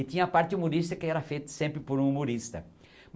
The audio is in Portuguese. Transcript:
E tinha a parte humorista que era feita sempre por um humorista.